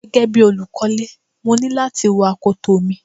Gẹ́gẹ́ bí olùkọ́lè, mo ní láti wọ akoto mi.